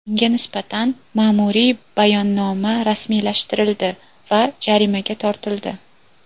Unga nisbatan ma’muriy bayonnoma rasmiylashtirildi va jarimaga tortildi.